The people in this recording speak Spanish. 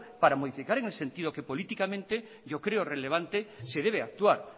para modificar en el sentido que políticamente yo creo relevante se debe actuar